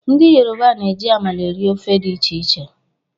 Ndị yoroba na-eji amala eri ofe dị iche iche